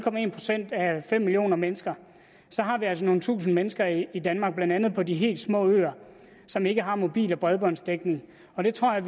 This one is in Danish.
procent af fem millioner mennesker har vi altså nogle tusinde mennesker i danmark blandt andet på de helt små øer som ikke har mobil og bredbåndsdækning og det tror jeg